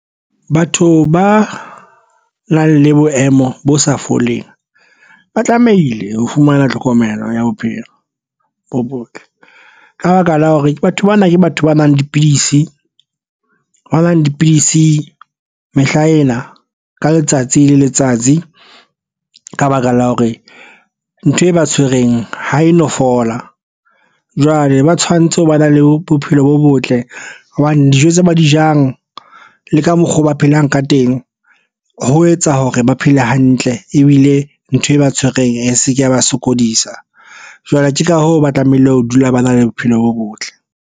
Batho ba nang le boemo bo sa foleng ba tlamehile ho fumana tlhokomelo ya bophelo bo botle. Ka baka la hore batho bana ke batho ba nwang dipidisi ho nwa dipidisi mehla ena ka letsatsi le letsatsi. Ka baka la hore ntho e ba tshwereng ha e no fola, jwale ba tshwanetse ho ba na le bophelo bo botle hobane dijo tse ba di jang le ka mokgwa oo ba phelang ka teng ho etsa hore ba phele hantle ebile ntho e ba tshwereng seke, ba sokodisa. Jwale ke ka hoo ba tlamehile ho dula ba na le bophelo bo botle.